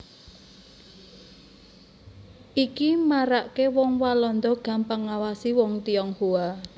Iki maraaké wong Walanda gampang ngawasi wong Tionghoa